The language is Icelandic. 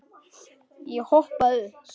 Ég hoppaði upp.